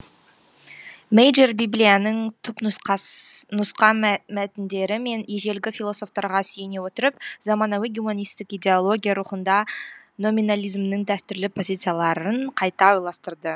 мейджор библияның түпнұсқа мәтіндері мен ежелгі философтарға сүйене отырып заманауи гуманистік идеология рухында номинализмнің дәстүрлі позицияларын қайта ойластырды